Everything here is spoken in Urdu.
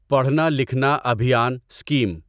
پڑھنا لکھنا ابھیان اسکیم